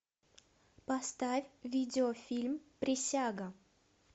поставь видеофильм присяга